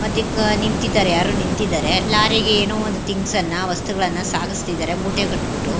ಮತ್ತ ಇಕ್ ನಿಂತಿದರೆ ಯಾರೋ ನಿಂತಿದರೆ ಲಾರಿಗೆ ಏನೋ ಒಂದ ತಿಂಗ್ಸ್ ಅನ್ನ ವಸ್ತುಗಳನ್ನ ಸಾಗಸತ್ತಿದರೆ ಮೂಟೆ ಕಟ್ಟ ಬಿಟ್ಟು --